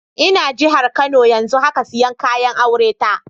N'na jihar Kano yanzun haka, siyan kayan aure ta